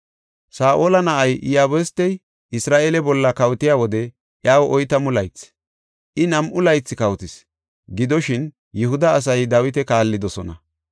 Saa7ola na7ay, Iyabustey Isra7eele bolla kawotiya wode iyaw oytamu laythi; I nam7u laythi kawotis. Gidoshin, Yihuda asay Dawita kaallidosona.